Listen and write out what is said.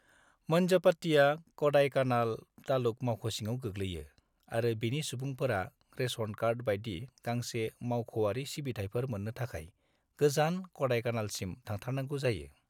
मन्जमपट्टीया क'डाइकानाल तालुक मावख' सिङाव गोग्लैयो, आरो बेनि सुबुंफोरा रेशन कार्ड बायदि गांसे मावख'आरि सिबिथायफोर मोन्नो थाखाय गोजान क'डाईकानालसिम थांथारनांगौ जायो।